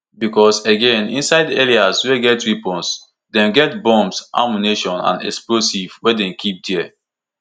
becos again inside areas wey get weapons dem get bombs ammunition and explosives wey dem keep dia